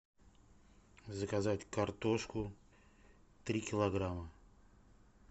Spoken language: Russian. заказать картошку три килограмма